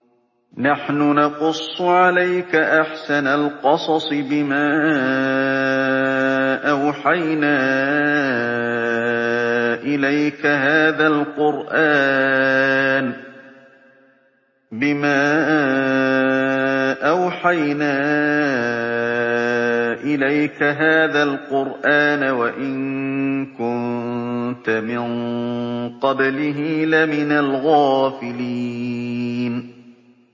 نَحْنُ نَقُصُّ عَلَيْكَ أَحْسَنَ الْقَصَصِ بِمَا أَوْحَيْنَا إِلَيْكَ هَٰذَا الْقُرْآنَ وَإِن كُنتَ مِن قَبْلِهِ لَمِنَ الْغَافِلِينَ